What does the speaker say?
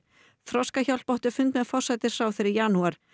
Þroskahjálp átti fund með forsætisráðherra í janúar